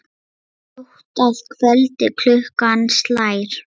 Hátt að kvöldi klukkan slær.